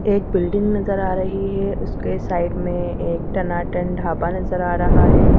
एक बिल्डिंग नज़र आ रही है उसके साइड में एक टनाटन ढाबा नज़र आ रहा है।